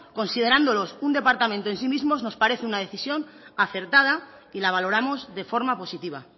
considerándolos un departamento en sí mismo nos parece una decisión acertada y la valoramos de forma positiva